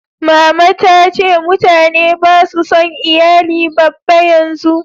mamana ta ce mutane ba su son iyali babba yanzu